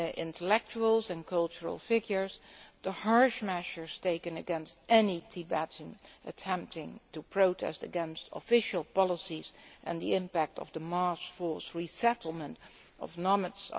intellectuals and cultural figures, the harsh measures taken against any Tibetan attempting to protest against official policies and the impact on Tibetan culture of the mass forced resettlement of nomads.